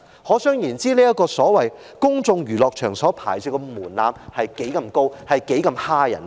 可想而知，這個公眾娛樂場所牌照的門檻之高，申請之難。